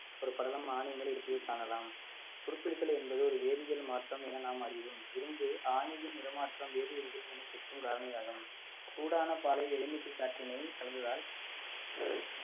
ஒரு படலம் ஆணி மேல் இருப்பதை காணலாம் துருபிடித்தல் என்பது ஒரு வேதியியல் மாற்றம் என நாம் அறிவோம் இரும்பு ஆணியின் நிற மாற்றம் வினைச்சுற்றும் காரணியாகும் சூடான பாலை எலுமிச்சைச் சாற்றினை கலந்ததால்